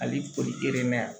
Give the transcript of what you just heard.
A b'i poli yan